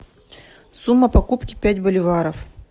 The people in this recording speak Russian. сумма покупки пять боливаров